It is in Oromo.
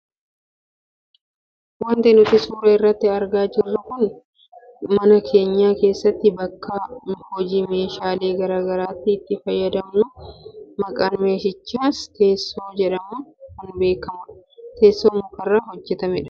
Wanti nuti suuraa kana irratti argaa jirru kun ammoo suuraa meeshaa mana keenya keessaafi bakka hojii keenyaa gara garaati itti fayyadamnu maqaan meeshichaas teessoo jedhamuun kan beekkamudha. Teessoo mukarraa hojjatamudha.